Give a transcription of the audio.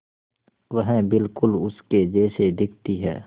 वह बिल्कुल उसके जैसी दिखती है